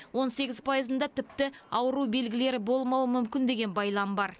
он сегіз пайызында тіпті ауру белгілері болмауы мүмкін деген байлам бар